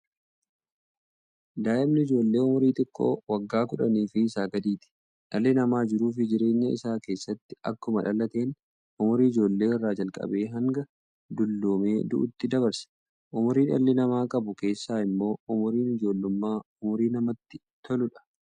Daa'imni ijoollee umurii xiqqoo waggaa 10 fi isaa gadiiti. Dhaalli namaa jiruuf jireenya isaa keessatti akkuma dhalateen, umurii ijoollee irraa jalqabee hanga dulluumee du'uutti dabarsa. Umurii dhalli namaa qabu keessaa immoo, umuriin ijoollummaa umurii namatti toltuudha.